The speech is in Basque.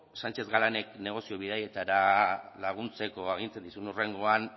sánchez galánek negozio bidaietara laguntzeko agintzen dizun hurrengoan